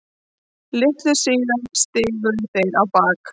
Litlu síðar stigu þeir á bak.